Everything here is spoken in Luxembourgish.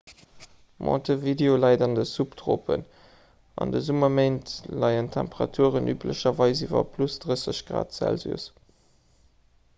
montevideo läit an den subtropen; an de summerméint leien d'temperaturen üblecherweis iwwer +30 grad celsius